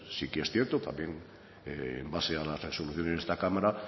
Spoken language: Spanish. sí que es cierto también en base a las resoluciones de esta cámara